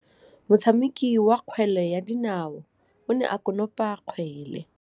Motshameki wa kgwele ya dinaô o ne a konopa kgwele.